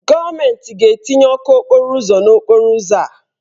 Gọọmentị ga-etinye ọkụ n'okporo ụzọ n'okporo ụzọ a.